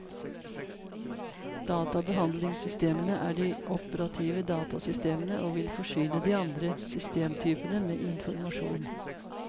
Databehandlingssystemene er de operative datasystemene og vil forsyne de andre systemtypene med informasjon.